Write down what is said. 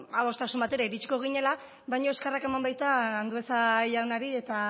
adostasun batera iritsiko ginela baina eskerrak eman baita andueza jaunari eta